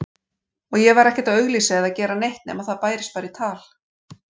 Og ég var ekkert að auglýsa eða gera neitt nema það bærist bara í tal.